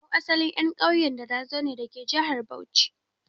Mu 'yan asalin ƙauyen Darazo ne dake jihar Bauchi.